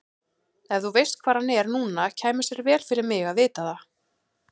Ef þú veist hvar hann er núna kæmi sér vel fyrir mig að vita það.